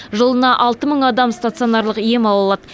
жылына алты мың адам стационарлық ем ала алады